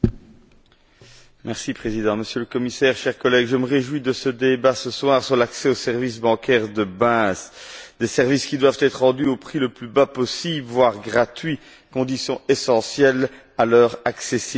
Monsieur le Président, Monsieur le Commissaire, chers collègues, je me réjouis de ce débat ce soir sur l'accès aux services bancaires de base, des services qui doivent être rendus au prix le plus bas possible, voire gratuit, condition essentielle à leur accessibilité.